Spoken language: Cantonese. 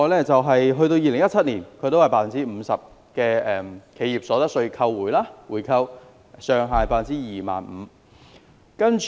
在2017年，有 50% 的企業所得稅回扣，上限是 25,000 新加坡元。